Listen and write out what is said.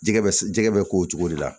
Jɛgɛ bɛ jɛgɛ bɛ k'o cogo de la